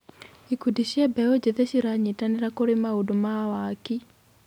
Ikundi cia mbeũ njĩthĩ ciranyitanĩra kũrĩ maũndũ ma waki.